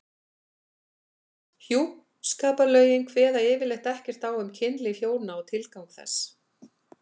Hjúskaparlögin kveða yfirleitt ekkert á um kynlíf hjóna og tilgang þess.